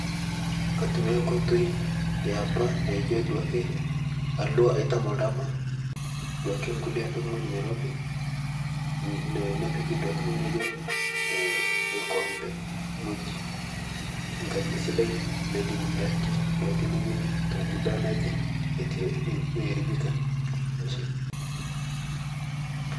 Atumia nkotei epa naijo duake alua aitan ldama duake apik ng'oji neirobi nipik duake ng'oji naijo lkombe ng'oji nkaji sidai neidim ndaki neweni te muda naije atu earibika.